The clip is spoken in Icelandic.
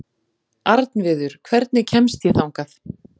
Arnviður, hvernig kemst ég þangað?